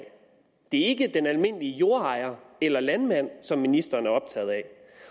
det er ikke den almindelige jordejer eller landmand som ministeren er optaget af